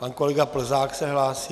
Pan kolega Plzák se hlásí.